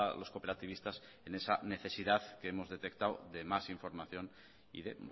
los cooperativistas en esa necesidad que hemos detectado de más información y de